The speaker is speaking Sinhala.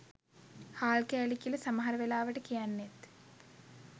හාල් කෑලි කියල සමහර වෙලාවට කියන්නෙත්